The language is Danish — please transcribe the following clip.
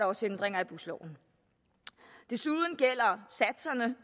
også ændringer i busloven desuden gælder